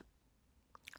DR K